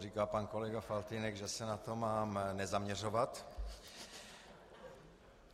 Říkal pan kolega Faltýnek, že se na to mám nezaměřovat.